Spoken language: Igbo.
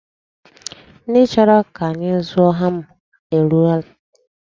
Ndị chọrọ ka anyị zụọ hama erutela.